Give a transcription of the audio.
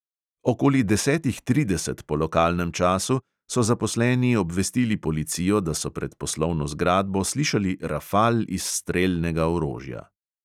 Okoli desetih trideset po lokalnem času so zaposleni obvestili policijo, da so pred poslovno zgradbo slišali rafal iz strelnega orožja.